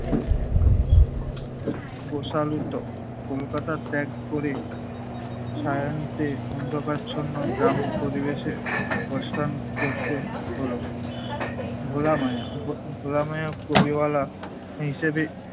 বশালীত। কলকাতা ত্যাগ করে শায়ান্তে অন্ধকারাচ্ছন্ন গ্রাম পরিবেশে পসান করতে হলো। ভোলা মায়া ভোলা মায়া কবিওয়ালা হিসেবে